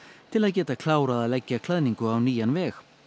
til að geta klárað að leggja klæðningu á nýjan veg